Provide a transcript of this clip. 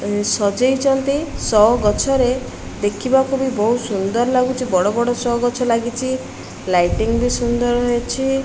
ସଜେଇଛନ୍ତି show ଗଛରେ ଦେଖିବାକୁ ବି ବହୁତ ସୁନ୍ଦର ଲାଗୁଛି ବଡ ବଡ ଶୋ ଗଛ ଲାଗିଚି ଲାଇଟିଙ୍ଗ ବି ସୁନ୍ଦର ରହିଛି।